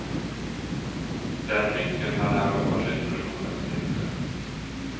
Den nyckeln hade han behållit och nu kom den till nytta.